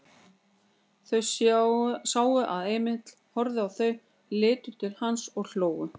Þau sáu að Emil horfði á þau, litu til hans og hlógu.